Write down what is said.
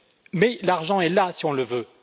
Mais l'argent est là, si on le veut.